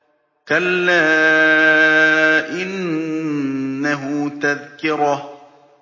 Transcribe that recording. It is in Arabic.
كَلَّا إِنَّهُ تَذْكِرَةٌ